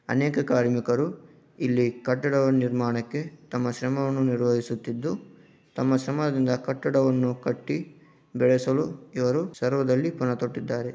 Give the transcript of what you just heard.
ಅನೇಕ ಕಾರ್ಮಿಕರು ಇಲ್ಲಿ ಕಟ್ಟಡ ನಿರ್ಮಾಣಕ್ಕೆ ತಮ್ಮ ಶ್ರಮವನ್ನು ನಿರ್ವಹಿಸುತ್ತಿದ್ದು ತಮ್ಮ ಶ್ರಮದಿಂದ ಕಟ್ಟಡವನ್ನು ಕಟ್ಟಿ ಬೆಳೆಸಲು ಈವರು ಸರ್ವದಲ್ಲಿ ಪುನತೊಟ್ಟಿದ್ದಾರೆ.